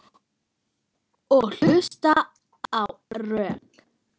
Og hlusta ekkert á rök.